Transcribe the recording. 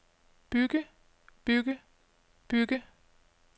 bygge bygge bygge